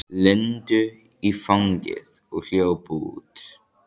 Lindu í fangið og hljóp út.